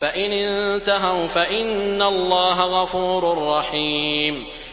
فَإِنِ انتَهَوْا فَإِنَّ اللَّهَ غَفُورٌ رَّحِيمٌ